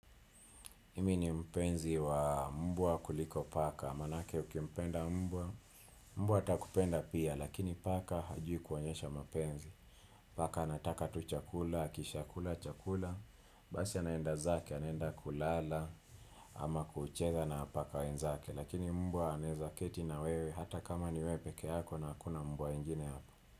Imi ni mpenzi wa mbwa kuliko paka, maanake ukimpenda mbwa, mbwa atakupenda pia, lakini paka hajui kuonyesha mapenzi. Paka anataka tu chakula, akishaa kula chakula. Basi anaenda zake, anaenda kulala. Ama kucheza na paka wenzake. Lakini mbwa anaweza keti na wewe hata kama ni wewe peke yako na hakuna mbwa wengine hapa.